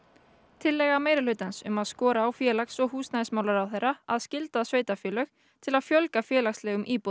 tillaga meirihlutans um að skora á félags og húsnæðismálaráðherra að skylda sveitarfélög til að fjölga félagslegum íbúðum